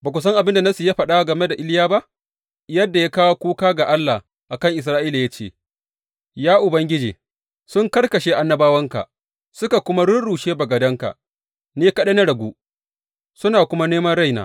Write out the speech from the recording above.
Ba ku san abin da Nassi ya faɗa game da Iliya ba, yadda ya kawo kuka ga Allah a kan Isra’ila ya ce, Ya Ubangiji, sun karkashe annabawanka suka kuma rurrushe bagadanka; ni kaɗai na ragu, suna kuma neman raina?